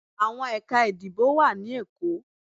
Awọn Ekà ìdíbò wa ni Èko